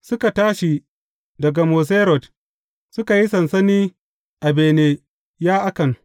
Suka tashi daga Moserot, suka yi sansani a Bene Ya’akan.